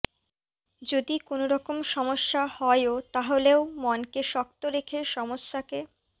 যদি কোনওরকম সমস্য়া হয়ও তাহলেও মনকে শক্ত রেখে সমস্যাকে